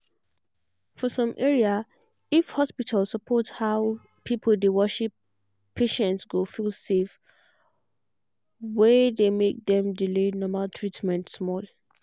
for some area if hospital support how people dey worship patients go feel safe. were dey make dem delay normal treatment small.